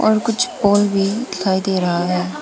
और कुछ पोल भी दिखाई दे रहा है।